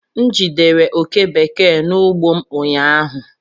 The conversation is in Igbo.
M jidere oke bekee n'ugbo m ụnyaahụ